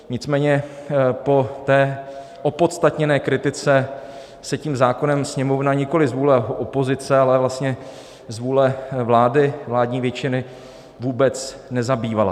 Nicméně po té opodstatněné kritice se tím zákonem Sněmovna nikoliv z vůli opozice, ale vlastně z vůle vlády, vládní většiny, vůbec nezabývala.